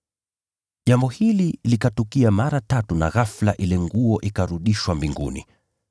Jambo hili lilitokea mara tatu na ghafula ile nguo ikarudishwa mbinguni.